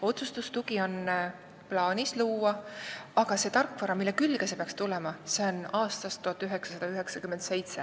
Praegu on plaanis luua otsustustugi, aga see tarkvara, mille külge see peaks tulema, on aastast 1997.